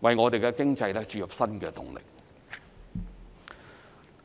為我們的經濟注入新動力。